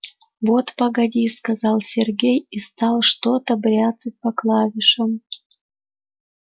вот погоди сказал сергей и стал что-то бряцать по клавишам